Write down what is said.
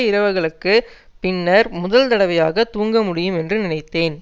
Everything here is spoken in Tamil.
இரவுகளுக்குப் பின்னர் முதல் தடவையாக தூங்க முடியும் என்று நினைத்தேன்